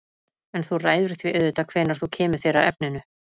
En þú ræður því auðvitað hvenær þú kemur þér að efninu.